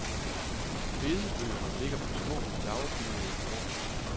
Bedebøgerne ligger på små lavbenede borde.